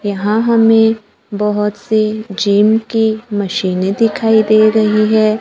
यहां हमें बहोत से जिम की मशीनें दिखाई दे रही है।